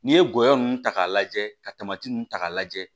N'i ye gɔyɔ ninnu ta k'a lajɛ kamati ninnu ta k'a lajɛ